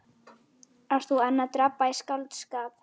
Ert þú enn að drabba í skáldskap?